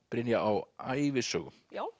Brynja á ævisögum já